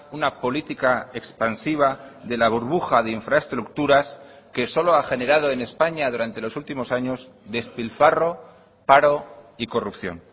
una política expansiva de la burbuja de infraestructuras que solo ha generado en españa durante los últimos años despilfarro paro y corrupción